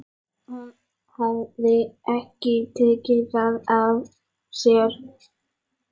Hún hafði ekki tekið það af sér.